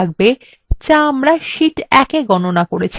যা আমরা শীট ১ we গণনা করেছি